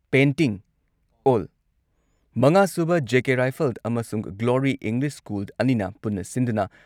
painting ꯑꯣꯜ ꯃꯉꯥ ꯁꯨꯕ ꯖꯦ.ꯀꯦ ꯔꯥꯏꯐꯜ ꯑꯃꯁꯨꯡ ꯒ꯭ꯂꯣꯔꯤ ꯏꯪꯂꯤꯁ ꯁ꯭ꯀꯨꯜ ꯑꯅꯤꯅ ꯄꯨꯟꯅ ꯁꯤꯟꯗꯨꯅ